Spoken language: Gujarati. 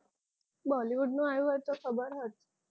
Bollywood નું આવ્યું હોત તો ખબર હોત